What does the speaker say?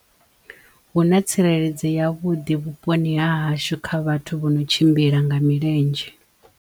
Huna tsireledzo yavhuḓi vhuponi ha hashu kha vhathu vho no tshimbila nga milenzhe.